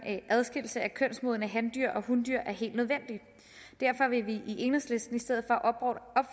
adskillelse af kønsmodne handyr og hundyr er helt nødvendig derfor vil vi i enhedslisten i stedet